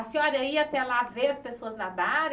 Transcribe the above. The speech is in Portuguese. A senhora ia até lá ver as pessoas nadarem?